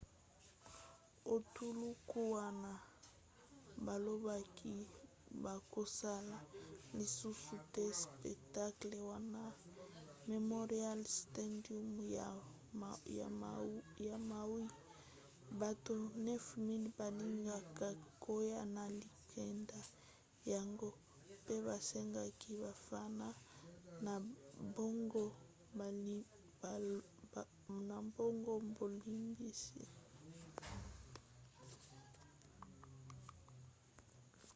etuluku wana balobaki bakosala lisusu te spectacle na war memorial stadium ya maui; bato 9 000 balingaka koya na likambo yango pe basengaki bafana na bango bolimbisi